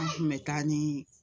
An kun bɛ taa ni